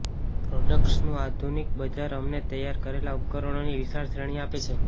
પ્રોડક્ટ્સનું આધુનિક બજાર અમને તૈયાર કરેલા ઉપકરણોની વિશાળ શ્રેણી આપે છે